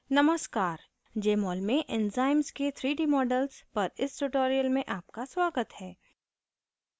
नमस्कार jmol में enzymes के 3d models पर इस tutorial में आपका स्वागत है